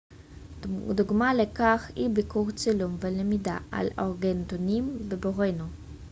דוגמה לכך היא ביקור צילום ולמידה על אורנגאוטנים בבורנאו